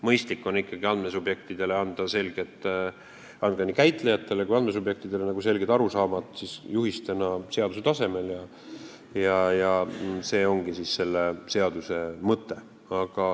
Mõistlik on ikkagi nii käitlejatele kui ka andmesubjektidele anda selged arusaamad juhistena seaduse tasemel ja see ongi selle seaduse mõte.